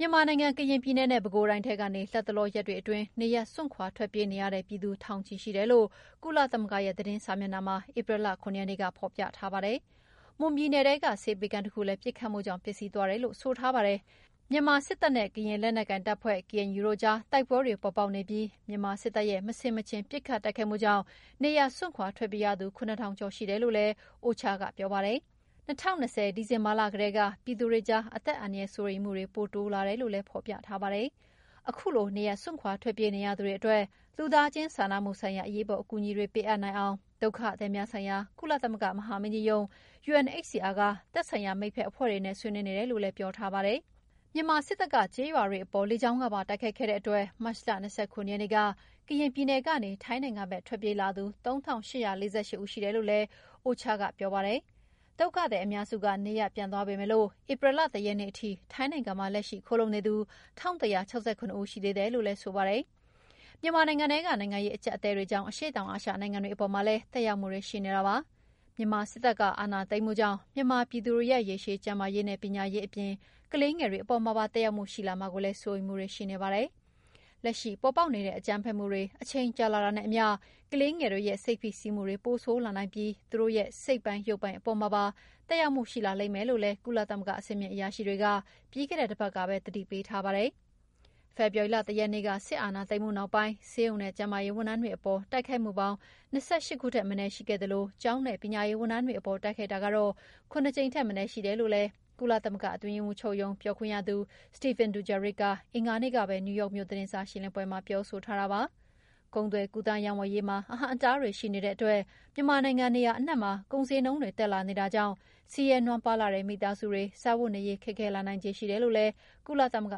မြန်မာနိုင်ငံ၊ ကရင်ပြည်နယ်နဲ့ ပဲခူးတိုင်းထဲကနေ လတ်တလောရက်တွေအတွင်း နေရပ်ထွက်ခွာ ထွက်ပြေးနေရတဲ့ပြည်သူ ထောင်နဲ့ချီရှိတယ်လို့ ကုလသမဂ္ဂရဲ့ သတင်းစာမျက်နှာမှာ ဧပြီလ ၇ ရက်နေ့က ဖော်ပြေထားပါတယ်။ မွန်ပြည်နယ်ထဲက ဆေးပေးခန်းတခုလည်း ပစ်ခတ်မှုတွေကြောင့် ပျက်စီးသွားတယ်လို့ ဆိုထားပါတယ်။ မြန်မာစစ်တပ်ရဲ့ ကရင်လက်နက်ကိုင်တပ်ဖွဲ့ KNU တို့ကြား တိုက်ပွဲတွေ ပေါ်ပေါက်နေပြီး မြန်မာစစ်တပ်ရဲ့ မဆင်မခြင် ပစ်ခတ်တိုက်ခိုက်မှုကြောင့် နေရပ်စွန့်ခွာ ထွက်ပြေးရသူ ၇ထောင် ကျော်ရှိတယ်လို့လည်း OCHA က ပြောပါတယ်။ ၂၀၂၀ ဒီဇင်ဘာလက တည်းက ပြည်သူတွေကြား အသက်အန္တရာယ်စိုးရိမ်မှုတွေပိုတိုးလာတယ်လို့လည်း ဖော်ပြထားပါတယ်။ ခုလို နေရပ်စွန့်ခွာ ထွက်ပြေးနေရသူတွေအတွက် လူသားချင်းစာနာမှုဆိုင်ရာ အရေးပေါ် အကူအညီတွေပေးအပ်နိုင်အောင် ဒုက္ခသည်များဆိုင်ရာ ကုလသမဂ္ဂမဟာမင်းကြီးရုံး UNHCR က သက်ဆိုင်ရာမိတ်ဖက်အဖွဲ့တွေနဲ့ ဆွေးနွေးနေတယ်လို့လည်း ပြောထားပါတယ်။ မြန်မာစစ်တပ်က ကျေးရွာတွေအပေါ် လကြောင်းကနေ ပါတိုက်ခိုက်ခဲ့တဲ့အတွက် မတ်လ ၂၇ ရက်နေ့က ကရင်ပြည်နယ်ကနေ ထိုင်းနိုင်ငံဖက်ထွက်ပြေးလာသူ ၃၈၄၈ ဦးရှိတယ်လို့လည်း UNOCHA ကပြောပါတယ်။ ဒုက္ခသည်အများစုက နေရပ်ပြန်သွားကြပေမယ့် ဧပြီလ ၁ ရက်နေ့ထိ ထိုင်းနိုင်ငံမှာ လက်ရှိခိုလှုံနေသူ ၁၁၆၇ ဦးရှိသေးတယ်လို့ဆိုပါတယ်။ မြန်မာနိုင်ငံထဲက နိုင်ငံရေးအကြပ်အတည်းတွေကြောင့် အရှေ့တောင်အာရှနိုင်ငံတွေအပေါ်မှာလည်း သက်ရောက်မှုတွေရှိနေပါတယ်။ မြန်မာစစ်တပ်က အာဏာသိမ်းမှုကြောင့် မြန်မာပြည်သူတွေရဲ့ ရေရှည် ကျန်းမာရေးနဲ့ ပညာရေးအပြင် ကလေးငယ်တွေ အပေါ်မှာပါ သက်ရောက်မှုရှိလာမှာကိုလည်း စိုးရိမ်မှုတွေရှိနေပါတယ်။ လက်ရှိ ပေါ်ပေါက်နေတဲ့ အကြမ်းဖက်မှုတွေ အချိန်ကြာလာတာနဲ့အမ ျှ ကလေးငယ်တွေရဲ့စိတ် ဖိစီးမှုတွေ ပိုဆိုးလာနိုင်ပြီး သူတို့ရဲ့စိတ်ပိုင်၊း ရုပ်ပိုင်းအပေါ်မှာပါ သက်ရောက်မှုရှိလာလိမ့်မယ်လို့လည်း ကုလသမဂ္ဂကအဆင့်မြင့်အရာရှိတွေက ပြီးခဲ့တဲ့တပတ်ကပဲ သတိပေးထားပါတယ်။ ဖေဖော်ဝါရီလ ၁ ရက်နေ့ စစ်အာဏာသိမ်းမှုနောက်ပိုင်း ဆေးရုံနဲ့ကျန်းမာရေးဝန်ထမ်းတွေအပေါ်တိုက်ခိုက်မှုပေါင်း ၂၈ ခုထက်မနည်း ရှိခဲ့သလို ကျောင်းနဲ့ ပညာရေးဝန်ထမ်းတွေအပေါ်တိုက်ခိုက်တာက ၇ ကြိမ်ထက်မနည်းရှိတယ်လို့ ကုသမဂ္ဂအတွင်းရေးမှူးချုပ်ရုံးပြောခွင့်ရသူ Stéphane Dujarric က အင်္ဂါနေ့ကပဲ နယူးယောက်မြို့သတင်းစာရှင်းလင်းပွဲမှာပြောဆိုထားပါတယ်။ ကုန်သွယ်ကူးသန်းရောင်းဝယ်ရေးမှာ အဟန့်အတားတွေရှိနေတဲ့အတွက် မြန်မာနိုင်ငံနေရာအနှံ့မှာ ကုန်ဈေးနှုန်းတွေတက်လာနေတာကြောင့် ဆင်းရဲနွမ်းပါးလှတဲ့မိသားစုတွေစားဝတ်နေရေး ခက်ခဲလာနိုင်ခြေရှိတယ်လို့လည်း ကုလသမဂ္ဂ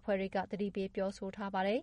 အဖွဲ့တွေက ပြောဆိုထားပါတယ်